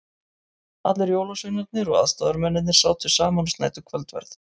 Allir jólasveinarnir og aðstoðamennirnir sátu saman og snæddu kvöldverð.